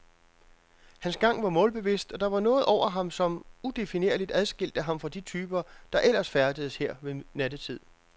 Hans gang var målbevidst, og der var noget over ham, som, udefinerligt, adskilte ham fra de typer, der ellers færdedes her ved nattetid.